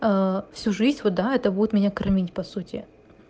ээ всю жизнь вот да это будет меня кормить по сути